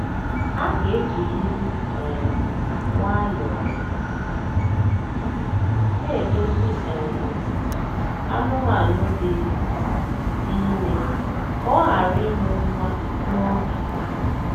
A ga ejirịrị um nwayọọ na-edozi um anụmanụ dị dị ime ka ọ ghara ịmụ nwa n'oge.